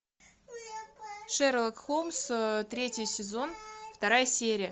шерлок холмс третий сезон вторая серия